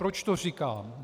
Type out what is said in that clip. Proč to říkám?